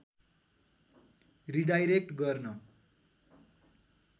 redirect गर्न